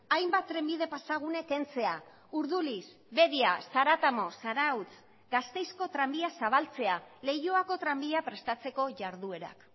hainbat trenbide pasagune kentzea urduliz bedia zaratamo zarautz gasteizko tranbia zabaltzea leioako tranbia prestatzeko jarduerak